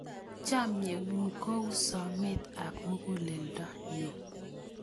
Chamyengung ko u someet ab muguleldonyu